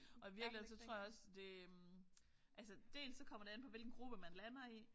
Og i virkeligheden så tror jeg også det øh altså dels så kommer det an på hvilken gruppe man lander i